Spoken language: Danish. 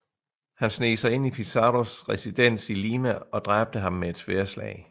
Han sneg sig ind i Pizarros residens i Lima og dræbte ham med et sværdslag